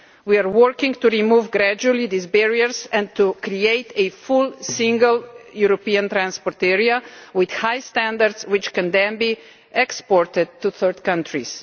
We are working to gradually remove these barriers and to create a full single European transport area with high standards which can then be exported to third countries.